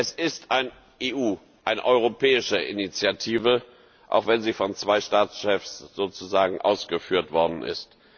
Es ist eine EU Initiative, auch wenn sie von zwei Staatschefs sozusagen ausgeführt worden ist.